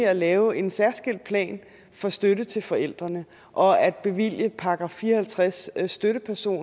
at lave en særskilt plan for støtte til forældrene og at bevilge en § fire og halvtreds støtteperson